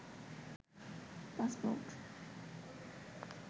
passport